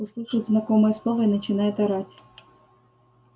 услышит знакомое слово и начинает орать